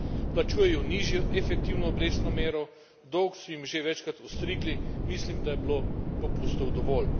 Plačujejo nižjo efektivno obrestno mero, dolg so jim že večkrat ostrigli, mislim, da je bilo popustov dovolj.